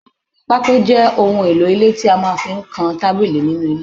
Pako je ohun èlò ilé kíkọ tí a máa fí ń kan tábìlì nínú ile